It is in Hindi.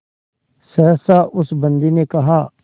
सहसा उस बंदी ने कहा